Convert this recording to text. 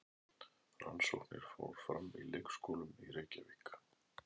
Rannsóknin fór fram í leikskólum í Reykjavík.